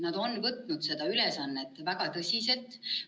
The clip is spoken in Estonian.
Nad on võtnud seda ülesannet väga tõsiselt.